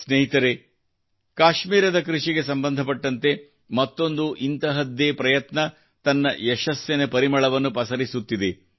ಸ್ನೇಹಿತರೇ ಕಾಶ್ಮೀರದ ಕೃಷಿಗೆ ಸಂಬಂಧಪಟ್ಟಂತೆ ಮತ್ತೊಂದು ಇಂತಹದ್ದೇ ಪ್ರಯತ್ನ ತನ್ನ ಯಶಸ್ಸಿನ ಪರಿಮಳವನ್ನು ಪಸರಿಸುತ್ತಿದೆ